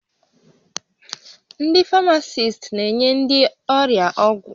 Ndị Famasist na-enye ndị ọrịa ọgwụ